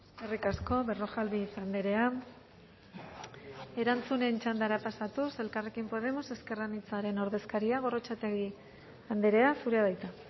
eskerrik asko berrojalbiz andrea erantzunen txandara pasatuz elkarrekin podemos ezker anitzaren ordezkaria gorrotxategi andrea zurea da hitza